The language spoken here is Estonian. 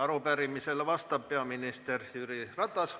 Arupärimisele vastab peaminister Jüri Ratas.